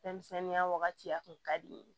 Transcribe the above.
Fɛnmisɛnninya wagati a kun ka di n ye